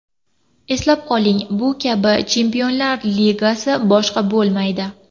Eslab qoling, bu kabi Chempionlar Ligasi boshqa bo‘lmaydi.